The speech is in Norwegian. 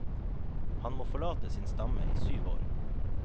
Han må forlate sin stamme i syv år.